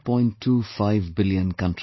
25 billion countrymen